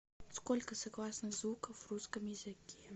сколько согласных звуков в русском языке